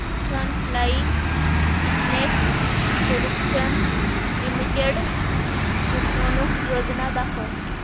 frontline business solutions limited गुंतवणूक योजना दाखव